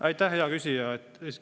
Aitäh, hea küsija!